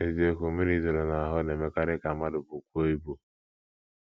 N’eziokwu, mmiri ịdọrọ n’ahụ́ na - emekarị ka mmadụ bukwuo ibu.